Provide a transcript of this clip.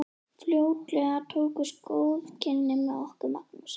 Fljótlega tókust góð kynni með okkur Magnúsi.